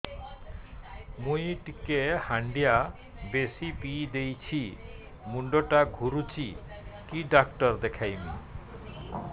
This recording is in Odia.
ମୁଇ ଟିକେ ହାଣ୍ଡିଆ ବେଶି ପିଇ ଦେଇଛି ମୁଣ୍ଡ ଟା ଘୁରୁଚି କି ଡାକ୍ତର ଦେଖେଇମି